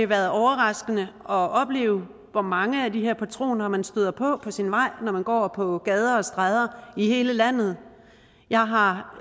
været overraskende at opleve hvor mange af de her patroner man støder på på sin vej når man går på gader og stræder i hele landet jeg har